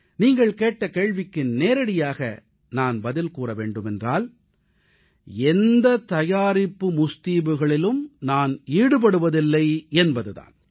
நீங்கள் கேட்ட கேள்விக்கு நேரடியாக நான் பதில் கூற வேண்டுமென்றால் எந்த தயாரிப்பு முஸ்தீபுகளிலும் நான் ஈடுபடுவதில்லை என்பது தான்